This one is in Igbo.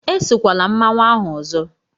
Esokwala mmanwu ahụ ọzọ!